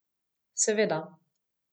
Seveda.